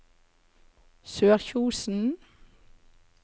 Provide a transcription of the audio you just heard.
Sørkjosen